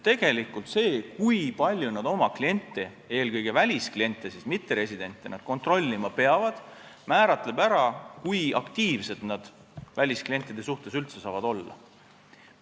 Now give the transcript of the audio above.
Tegelikult see, kui palju nad oma kliente – eelkõige väliskliente, mitteresidente – kontrollima peavad, määrab ära, kui aktiivsed nad välisklientide suhtes üldse saavad olla.